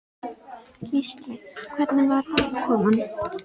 Gísli: Hvernig var aðkoman?